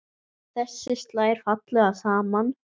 Þessu slær fallega saman.